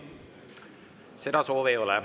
Seda soovi ei ole.